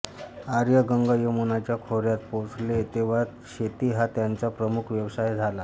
आर्य गंगायमुनाच्या खोर्यात पोहोचले तेव्हा शेती हा त्यांचा प्रमुख व्यवसाय झाला